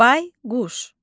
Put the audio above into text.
Bayquş.